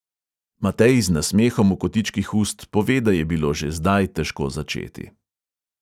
Matej z nasmehom v kotičkih ust pove, da je bilo že zdaj težko začeti.